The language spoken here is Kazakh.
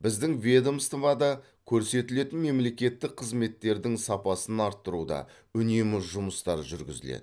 біздің ведомствода көрсетілетін мемлекеттік қызметтердің сапасын арттыруда үнемі жұмыстар жүргізіледі